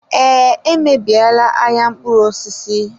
Ee, emebiela ahịa mkpụrụ osisi.